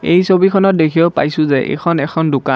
এই ছবিখনত দেখিব পাইছোঁ যে এইখন এখন দোকান।